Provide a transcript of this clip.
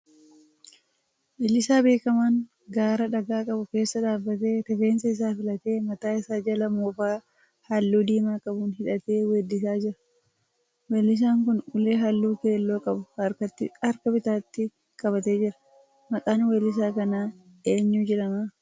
Weellisaa beekamaan gaara dhagaa qabu keessa dhaabbatee rifeensa isaa filatee mataa isaa jala moofaa halluu diimaa qabuun hidhatee weeddisaa jira. Weellisaan kun ulee halluu keelloo qabu harka bitaatti qabatee jira. Maqaan weellisaa kanaa eenyu jedhamaa?